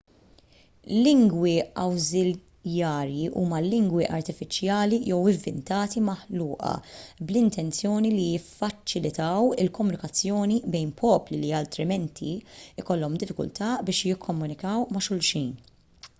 lingwi awżiljarji huma lingwi artifiċjali jew ivvintati maħluqa bl-intenzjoni li jiffaċilitaw il-komunikazzjoni bejn popli li altrimenti jkollhom diffikultà biex jikkomunikaw ma' xulxin